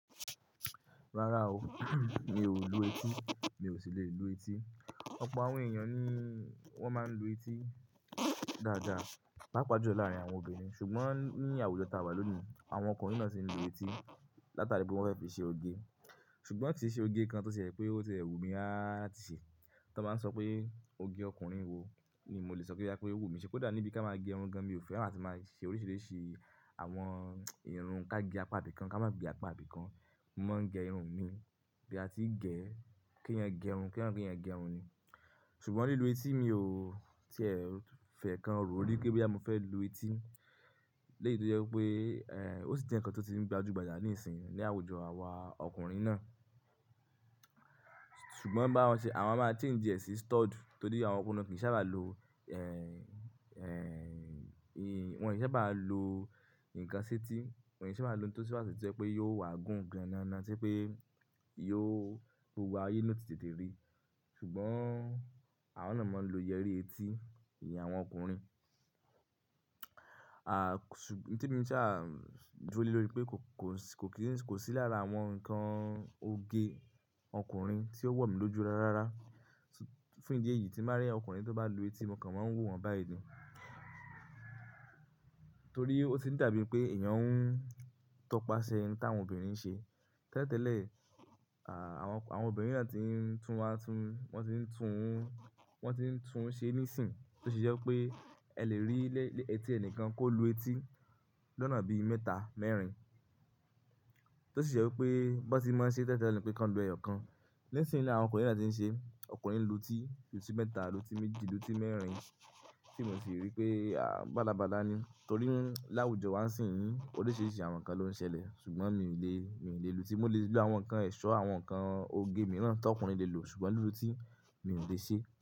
Rárá o, mi ò lu etí, mi ò sì le lu etí. Ọ̀pọ̀ àwọn èèyàn ni wọ́n máa ń lu etí dáadáa, paapaa jù lọ láàárín àwọn obìnrin ṣùgbọ́n ní àwùjọ táa wà lónìí, àwọn ọkùnrin náà sì ń lu etí látara pé wọ́n fẹ́ fi ṣe oge. Ṣùgbọ́n ki ṣe oge kan tó ṣe pé ó tìẹ́ wù mí á ti ṣe. Tí wọ́n bá ń sọ pé oge ọkùnrin wo ni mo lè sọ kí í dá pé ó wù mí ṣe pẹ́ dà níbí ká máa gẹ irun gan mi ò fẹ́, àti máa ṣe oríṣiríṣi àwọn irun ká gẹ apá ibìkan ká má gẹ apá ibìkan. Mo máa ń gẹ irun mi bí a ti ń gẹ̀, kí ẹ̀yin gẹ irun kí ẹ̀yin gẹ irun ni. Ṣùgbọ́n lílu etí mi ò tíẹ̀ fẹ́ kan ró rí pé bí à mo fẹ́ lu etí. Lẹ́yìn tó jẹ́ pé, ẹ́, ó sì ti ń kán tó ti ń gbajúgbajà níìsín ní àwùjọ àwa ọkùnrin náà. Ṣùgbọ́n báwọn ṣe àwọn a máa change e sí stud, torí àwọn ọkùnrin kìí sábà lo, ẹ́, ẹ́, wọn kìí sábà lo nǹkan sí etí, wọn kìí sábà lo ohun tó sì máa ṣe pé yóò wà gùn gan-an-an, tí pé yóò gbé wa ayé náà tètè rí. Ṣùgbọ́n àwọn náà máa ń lo yẹrí etí ìyẹn àwọn ọkùnrin. À, ṣùgbọ́n tí mí ṣáá dúró lé lórí pé kò sí lára àwọn nǹkan oge ọkùnrin tí ó wọ̀ mí lójú rárá fún ìdí èyí tí máa rí ọkùnrin tó bá lu etí, mo kàn máa ń wò wọ́n báyi ni. Torí ó ti ń dà bíi pé èèyàn ń tọpasẹ nǹkan tí àwọn obìnrin ń ṣe. Tẹ́tẹ́lẹ̀, à, àwọn obìnrin ni wọ́n ti ń tún wá tún, wọ́n ti ń tún, wọ́n ti ń tún ṣe níìsín tó sì jẹ́ pé ẹ lè rí lẹ́, lẹ́ etí ẹnìkan kó lu etí lọ́nà bí mẹ́ta, mẹ́rin. Tó sì jẹ́ wípé bó ti máa ṣe tẹ́tẹ́lẹ̀ ni pé kan lu ẹyọ kan. Nísìnyí ni àwọn ọkùnrin ni wọ́n ti ń ṣe, ọkùnrin lu etí, lu tí mẹ́ta, lu tí méjì, lu tí mẹ́rin tí mo sì rí pé, à, bálabála ni. Torí láwùjọ wa sì ń, oríṣiríṣi àwọn nǹkan ló ń ṣẹlẹ̀ ṣùgbọ́n mi ò le, mi ò le lu etí. Mo lè lu àwọn nǹkan ẹ̀ṣọ́, àwọn nǹkan oge mìíràn tí ọkùnrin le lò ṣùgbọ́n lulú etí mi ò lè ṣe.